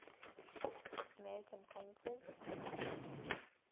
american painters